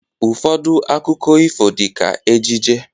Ụfọdụ akụkọ ifo dị ka ejije